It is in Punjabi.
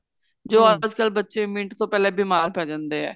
ਜੋ ਅੱਜਕਲ ਬੱਚੇ ਮਿੰਟ ਤੋਂ ਪਹਿਲਾਂ ਬੀਮਾਰ ਪੈ ਜਾਂਦੇ ਏ